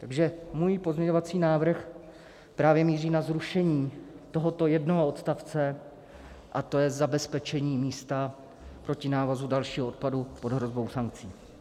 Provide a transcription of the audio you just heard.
Takže můj pozměňovací návrh právě míří na zrušení tohoto jednoho odstavce, a to je zabezpečení místa proti návozu dalšího odpadu pod hrozbou sankcí.